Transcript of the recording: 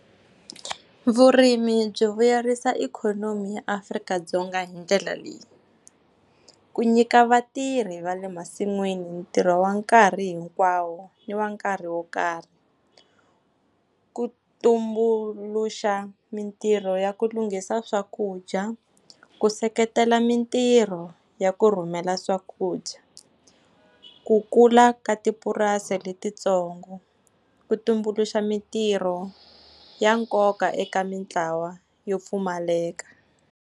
Vurimi byi vuyerisa ikhonomi ya Afrika-Dzonga hi ndlela leyi. Ku nyika vatirhi va le masin'wini ntirho wa nkarhi hinkwawo ni wa nkarhi wo karhi, ku tumbuluxa mintirho ya ku lunghisa swakudya, ku seketela mintirho ya ku rhumela swakudya, ku kula ka tipurasi letintsongo, ku tumbuluxa mintirho ya nkoka eka mintlawa yo pfumaleka.